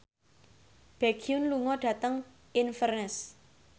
Baekhyun lunga dhateng Inverness